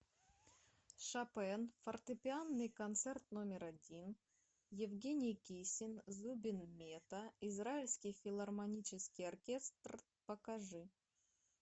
шопен фортепианный концерт номер один евгений кисин зубин мета израильский филармонический оркестр покажи